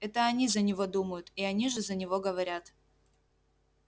это они за него думают и они же за него говорят